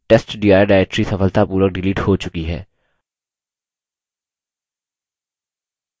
अब testdir directory सफलतापूर्वक delete हो चुकी है